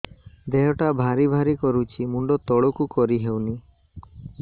ଦେହଟା ଭାରି ଭାରି କରୁଛି ମୁଣ୍ଡ ତଳକୁ କରି ହେଉନି